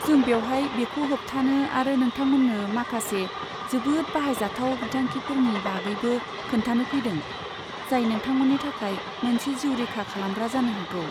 जों बेवहाय बेखौ होबथानो आरो नोंथांमोन्नो माखासे जोबोद बाहायजाथाव बिथांखिफोरनि बागैबो खोन्थानो फैदों जाय नोंथांमोननि थाखाय मोनसे जिउ रैखा खालामग्रा जानो हागौ।